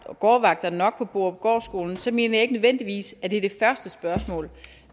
var gårdvagter nok på borupgårdskolen så mener jeg ikke nødvendigvis at det er det første spørgsmål